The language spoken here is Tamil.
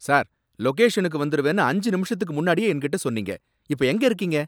சார், லொகேஷனுக்கு வந்திருவேன்னு அஞ்சு நிமிஷத்துக்கு முன்னாடியே என்கிட்ட சொன்னீங்க. இப்ப எங்க இருக்கீங்க?